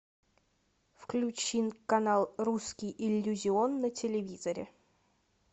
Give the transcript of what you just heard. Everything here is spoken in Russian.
включи канал русский иллюзион на телевизоре